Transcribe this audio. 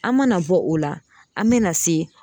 An mana bɔ o la an me na se